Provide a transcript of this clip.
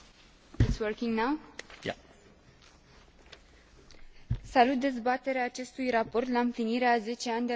Salut dezbaterea acestui raport la împlinirea a zece ani de la atentatele care au schimbat politica antiteroristă la nivel global.